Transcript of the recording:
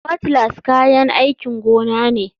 Cutlass kayan aikin gona ne.